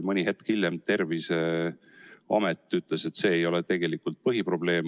Mõni hetk hiljem Terviseamet ütles, et see ei ole tegelikult põhiprobleem.